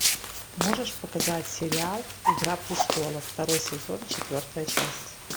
можешь показать сериал игра престолов второй сезон четвертая часть